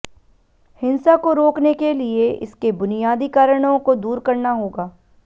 हिंसा को रोकने के लिए इसके बुनियादी कारणों को दूर करना होगा